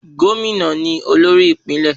Gómìnà ni olórí ìpínlẹ̀.